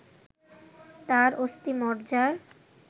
তার অস্থিমজ্জার